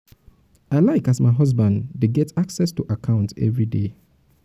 i like as my husband dey um um get access to account everyday. um